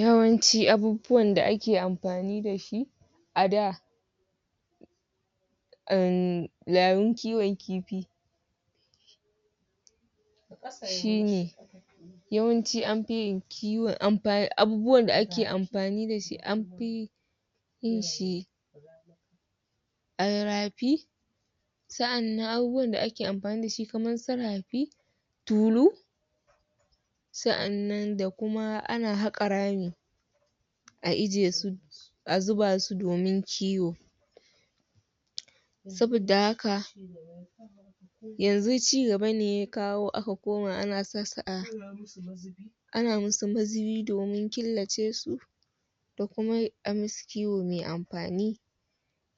Yawanci abubuwan da ake amfani da shi a da um yayin kiwon kifi shi ne Yawanci an fi yin kiwon...Abubuwan da ake amfani da shi an fi yin shi a rafi sa'annan abubuwan da ake amfani da shi kamar su rafi tulu sa'annan da kuma ana haƙa rami a ajiye su, a zuba su domin kiwo. Saboda haka, yanzu ci gaba ne ya kawo aka koma ana sa su a ana musu mazubi domin killace su da kuma a musu kiwo mai amfani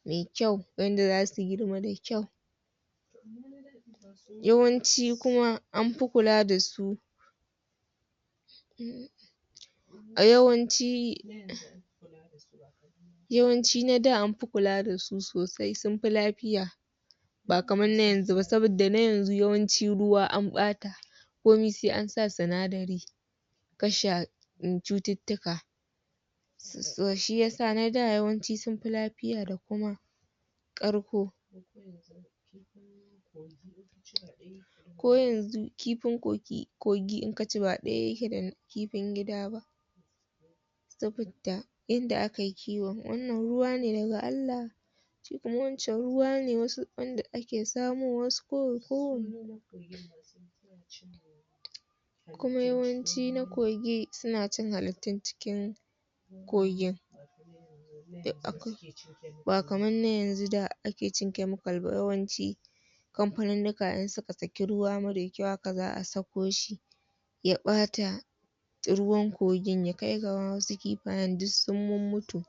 mai kyau wanda za su girma da kyau Yawanci kuma an fi kula da su yawanci Yawanci na da an fi kula da su sosai, sun fi lafiya. Ba kamar na yanzu ba saboda na yanzu ruwa an ɓata; komai sai an sa sinadari kashe cututtuka. Shi ya sa na da yawanci sun fi lafiya da kuma ƙarko. Ko yanzu, kifin kogi in ka ci ba ɗaya yake da na gida ba. saboda yadda aka yi kiwon. Wannan ruwa ne daga Allah shi kuma wancan ruwa ne wanda ake samo wasu kuma yawanci na kogi suna cin hakittun cikin kogin ba kamar na yanzu da ake cin kyamikal ba yawanci. Kamfanunnuka in suka saki ruwa marar kyau haka za a sako shi ya ɓata ruwan kogin, ya kai ga wasu kifayen duk sun mummutu.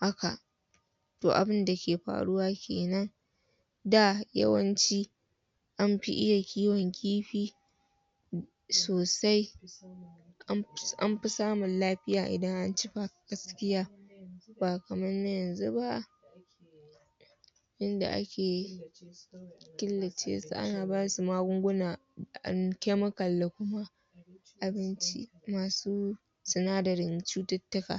Haka! To abin da ke faruwa ke nan. Da, yawanci an fi iya kiwon kifi sosai an ci samun lafiya idan an ci ma gaskiya. Ba kamar na yanzu ba. Yand ake killace su ana ba su magungunan kyamikal abinci masu sinadarin cututtuka.